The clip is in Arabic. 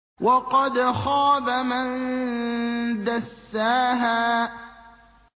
وَقَدْ خَابَ مَن دَسَّاهَا